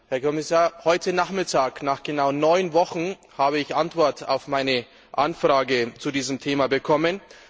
Herr Kommissar, heute Nachmittag, nach genau neun Wochen, habe ich Antwort auf meine Anfrage zu diesem Thema bekommen.